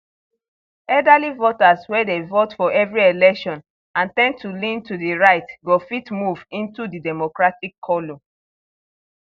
elderly voters wey dey vote for every election and ten d to lean to di right go fit move into di democratic column